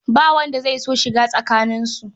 Ba wanda zai so shiga tsakaninsu.